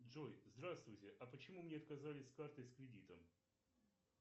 джой здравствуйте а почему мне отказали с картой с кредитом